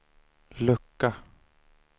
lucka